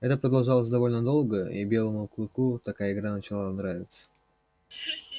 это продолжалось довольно долго и белому клыку такая игра начинала нравиться